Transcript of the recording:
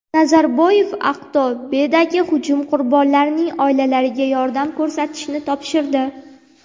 Nazarboyev Aqto‘bedagi hujum qurbonlarining oilalariga yordam ko‘rsatishni topshirdi.